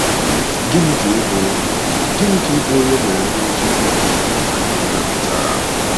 Gịnị ka ịbụ Gịnị ka ịbụ onye e mere mmiri chukwu “n’aha nke Nna” pụtara?